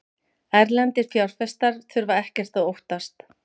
Erlendir fjárfestar þurfa ekkert að óttast